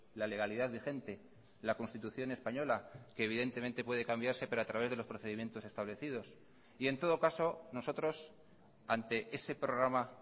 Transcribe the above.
la legalidad vigente la constitución española que evidentemente puede cambiarse pero a través de los procedimientos establecidos y en todo caso nosotros ante ese programa